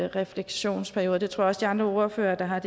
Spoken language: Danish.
refleksionsperiode det tror jeg også de andre ordførere der har